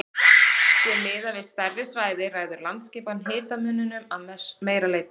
Sé miðað við stærri svæði ræður landaskipan hitamuninum að meira leyti.